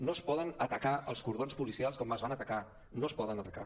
no es poden atacar els cordons policials com es van atacar no es poden atacar